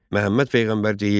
Məhəmməd peyğəmbər deyirdi: